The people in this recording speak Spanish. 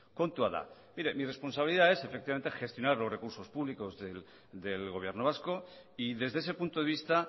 kontua da mire mi responsabilidad es efectivamente gestionar los recursos públicos del gobierno vasco y desde ese punto de vista